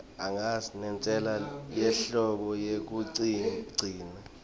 nentsela yemholo yekugcina